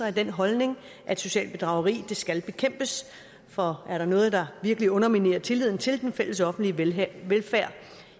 af den holdning at socialt bedrageri skal bekæmpes for er der noget der virkelig underminerer tilliden til den fælles offentlige velfærd velfærd